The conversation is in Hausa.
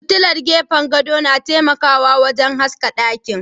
Fitilar gefen gado na taimakawa wurin haska ɗaki.